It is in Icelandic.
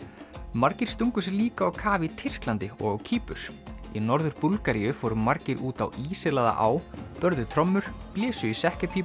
margir stungu sér líka á kaf í Tyrklandi og á Kýpur í Norður Búlgaríu fóru margir út á á börðu trommur blésu í